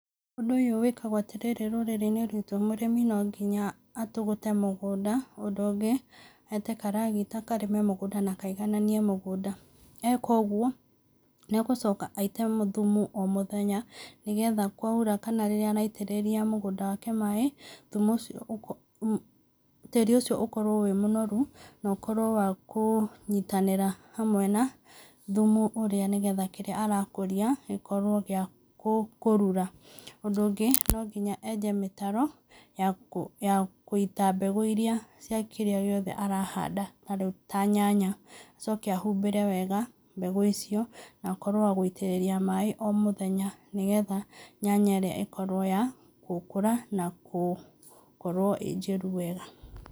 Ũndũ ũyũ wĩkagwo atĩ rĩrĩ rũrĩrĩ-inĩ rwitũ. Mũrĩmi no nginya atũgũte mũgũnda. Ũndũ ũngĩ, aĩte karagita karĩme mũgũnda na kaigananie mũgũnda. Aĩka ũguo, nĩ egũcoka aite thumu o mũthenya nĩgetha kwaura kana rĩrĩa araitĩrĩria mũgũnda wake maaĩ, thumu ũcio, tĩĩri ũcio ũkorwo wĩ mũnoru, na ũkorwo wa kũnyitanĩra hamwe na thumu ũrĩa, nĩgetha kĩrĩa arakũria gĩkorwo gĩa kũrura. Ũndũ ũngĩ, no nginya aenje mĩtaro ya ya kũita mbegũ iria cia kĩrĩa gĩothe arahanda ta rĩu ta nyanya. Acoke ahumbĩre wega mbegũ icio, na akorwo wa gũitĩrĩria maaĩ o mũthenya nĩgetha nyanya ĩrĩa ĩkorwo ya gũkũra na kũkorwo ĩ njĩru wega.